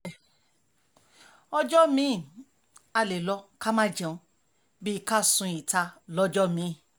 àìmọye bẹ́ẹ̀ bẹ́ẹ̀ ọjọ́ mi-ín á lè lọ ká má jẹun bíi ká sun ìta lọ́jọ́ mi-ín